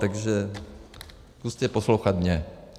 Takže zkuste poslouchat mě.